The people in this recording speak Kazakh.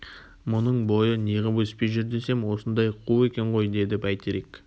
мұның бойы неғып өспей жүр десем осындай қу екен ғой деді бәйтерек